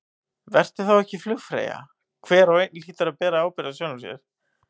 Vertu þá ekki flugfreyja, hver og einn hlýtur að bera ábyrgð á sjálfum sér.